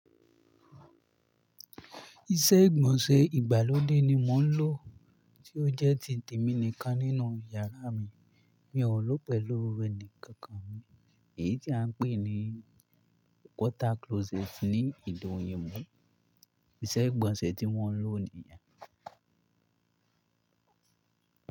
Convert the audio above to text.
Iṣẹ́ ìgbọ̀nsẹ̀ ìgbàlódé ni mò ń lò tí ó jẹ́ ti tèmi nìkan nínú yàrá mi. Mi ò lo pẹ̀lú ẹni kankan. Èyí tí à ń pè ní water closet ní ede oyinbo. Iṣẹ́ ìgbọ̀nsẹ̀ tí wọ́n lò nìyẹn.